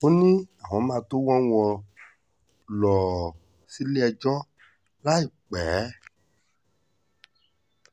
ó ní àwọn máa tóó wọ́ wọn lọ́ọ́ sílé-ẹjọ́ láìpẹ́